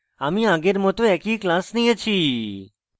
আমি আগের মত একই class নিয়েছি